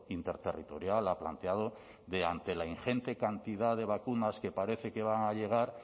interterritorial ha planteado de ante la ingente cantidad de vacunas que parece que van a llegar